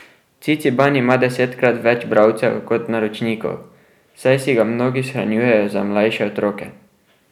Ciciban ima desetkrat več bralcev kot naročnikov, saj si ga mnogi shranjujejo za mlajše otroke.